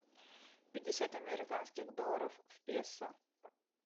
пятьдесят американских долларов в песо